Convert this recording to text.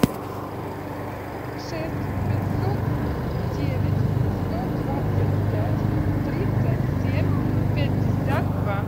шесть пятьсот девять сто двадцать пять тридцать семь пятьдесят два